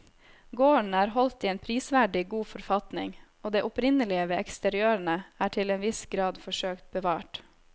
Gården er holdt i en prisverdig god forfatning og det opprinnelige ved eksteriørene er til en viss grad forsøkt bevart.